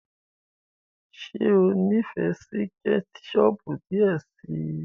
ṣe o n'ifẹ sí ketchup diẹ sí.